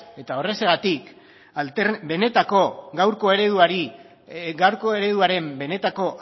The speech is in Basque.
eta horrexegatik gaurko ereduaren benetako